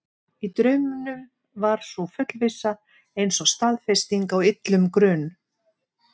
Í draumnum var sú fullvissa eins og staðfesting á illum grun.